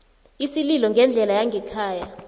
isililo ngendlela yangekhaya